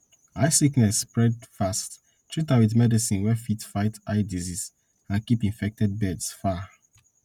eye sickness spread fast treat am with medicine wey fit fight eye disease and keep infected birds far